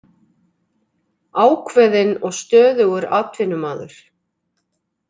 Ákveðinn og stöðugur atvinnumaður.